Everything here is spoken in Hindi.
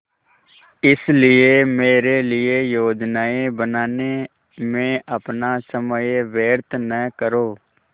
इसलिए मेरे लिए योजनाएँ बनाने में अपना समय व्यर्थ न करो